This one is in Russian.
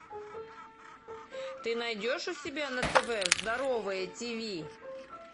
ты найдешь у себя на тв здоровое тиви